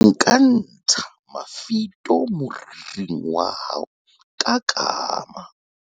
nka ntsha mafito moriring wa hao ka kama